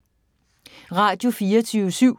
Radio24syv